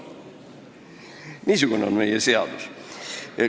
Niisugune on meie seadus.